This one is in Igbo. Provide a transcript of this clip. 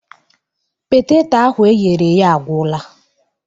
Poteto ahụ eghere eghe agwula